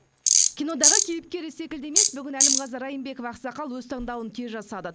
кинодағы кейіпкері секілді емес бүгін әлімғазы райымбеков ақсақал өз таңдауын тез жасады